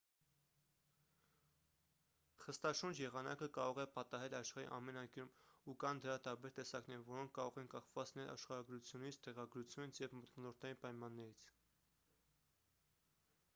խստաշունչ եղանակը կարող է պատահել աշխարհի ամեն անկյունում ու կան դրա տարբեր տեսակներ որոնք կարող են կախված լինել աշխարհագրությունից տեղագրությունից և մթնոլորտային պայմաններից